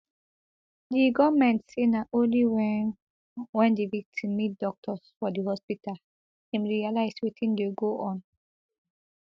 di goment say na only wen wen di victim meet doctors for di hospital im realise wetin dey go on